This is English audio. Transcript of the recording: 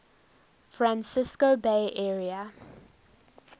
francisco bay area